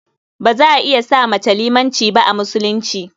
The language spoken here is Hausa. Ba za a iya sa mace limanci ba a Musulunci.